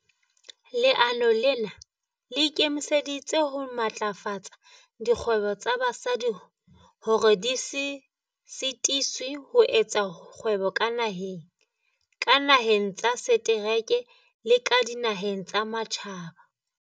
"Leano lena le ikemiseditse ho matlafatsa dikgwebo tsa basadi hore di se sitiswe ho etsa kgwebo ka naheng, ka dinaheng tsa setereke le ka dinaheng tsa matjhaba."